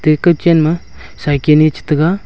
eka chan ma saikan e che taga.